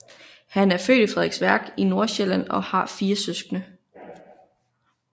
Han er født i Frederiksværk i Nordsjælland og har fire søskende